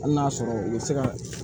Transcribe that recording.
Hali n'a y'a sɔrɔ u bɛ se ka